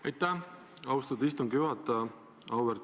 Aitäh, austatud istungi juhataja!